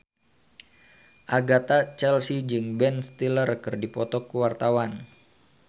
Agatha Chelsea jeung Ben Stiller keur dipoto ku wartawan